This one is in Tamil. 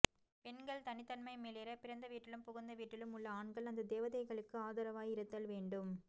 பெண்கள் தனித்தன்மை மிளிர பிறந்த வீட்டிலும் புகுந்த வீட்டிலும் உள்ள ஆண்கள் அந்த தேவதைகளுக்கு ஆதரவாய் இருத்தல் வேண்டும்